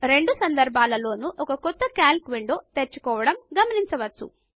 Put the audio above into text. రెండు సందర్భములలోను ఒక క్రొత్త కల్క్ విండో తెరుచుకోవడం గమనించవచ్చు